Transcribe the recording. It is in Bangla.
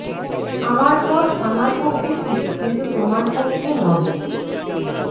আমার পথ আমার পক্ষে ঠিক কিন্তু তোমার পক্ষে নহে